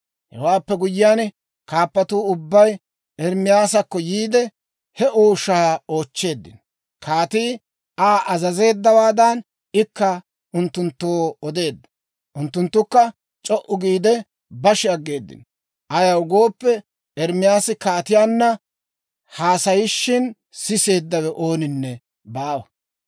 Hewaappe guyyiyaan, kaappatuu ubbay Ermaasakko yiide, he ooshaa oochcheeddino. Kaatii Aa azazeeddawaadan, ikka unttunttoo odeedda. Unttunttukka c'o"u giide bashi aggeeddino; ayaw gooppe, Ermaasi kaatiyaanna haasayishin siseeddawe ooninne baawa.